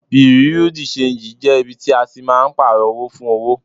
Bùréú dì ṣenjì jẹ́ ibi tí a máa ń Pààrọ̀ owó fún owó